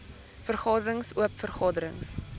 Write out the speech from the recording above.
vergaderings oop vergaderings